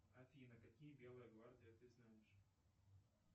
афина какие белая гвардия ты знаешь